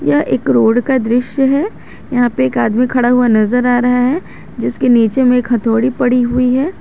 यह एक रोड का दृश्य है यहां पे एक आदमी खड़ा हुआ नजर आ रहा है जिसके नीचे में हथौड़ी पड़ी हुई है।